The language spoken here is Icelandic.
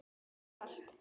Það er allt.